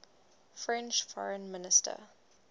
french foreign minister